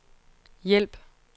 hjælp